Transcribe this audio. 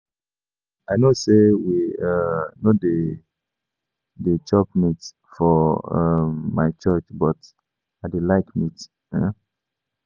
Abeg I no say we um no dey dey chop meat for um my church but I dey like meat um